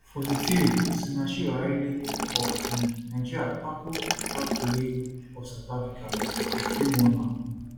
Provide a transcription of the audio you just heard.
43 osinachi ohale of um nigeria tackle kgatloe of south africa referee warn her